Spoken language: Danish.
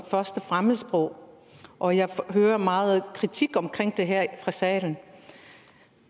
første fremmedsprog og jeg hører meget kritik af det her fra salen